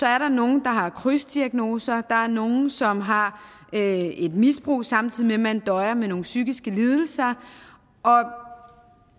er nogle der har krydsdiagnoser der er nogle som har et misbrug samtidig med at de døjer med nogle psykiske lidelser og